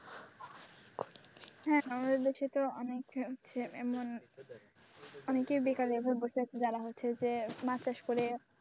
হ্যাঁ বাংলাদেশে তো অনেক ছেলে এমন অনেকেই বেকার ভাবে বসে রয়েছে যারা হচ্ছে যে মাছ চাষ করে,